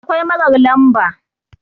akwai marar lamba